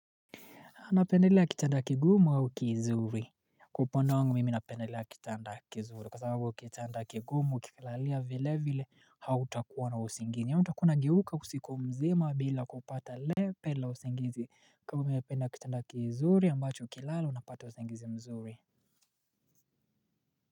Anapendelea kitanda kigumu au kizuri Kwa upande wangu mimi napendelea kitanda kizuri kwa sababu kitanda kigumu ukikilalia vile vile, hautakuwa na usingizi na hautakuwa unageuka usiku mzima bila kupata lepe la usingizi, kwa hivyo napenda kitanda kizuri ambacho ukilala unapata usingizi mzuri.